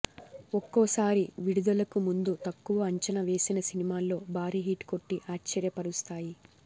ఒక్కోసారి విడుదలకు ముందు తక్కువ అంచనా వేసిన సినిమాలో భారీ హిట్ కొట్టి ఆశ్చర్యపరుస్తాయి